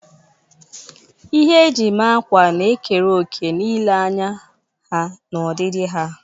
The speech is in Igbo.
Ihe eji eme akwa na-ekere òkè na ilee anya ha na ọdịdị ha.